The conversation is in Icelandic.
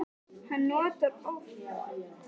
Hann notar oft orð sem við krakkarnir skiljum ekki.